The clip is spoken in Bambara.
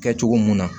Kɛ cogo mun na